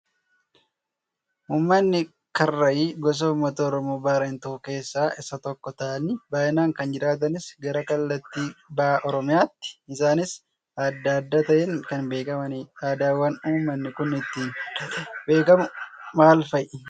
Uummanni karrayyii gosa uummata oromoo Baarentuu keessaa isaan tokko ta'anii baay'inaan kan jiraatanis gara kallattii baha Oromiyaati. Isaanis aadaa adda ta'een kan beekamanidha. Aadaawwan uummanni kun ittiin adda ta'ee beekamu maal fa'ii?